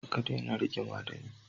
Ka daina rigima da ni.